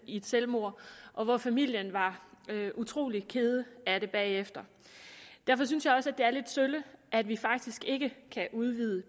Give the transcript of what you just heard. i et selvmord og hvor familien var utrolig kede af det bagefter derfor synes jeg også det er lidt sølle at vi faktisk ikke kan udvide